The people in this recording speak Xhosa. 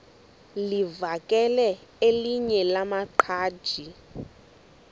livakele elinye lamaqhaji